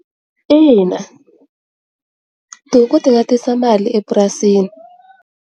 Ina, tihuku ti nga tisa mali epurasini.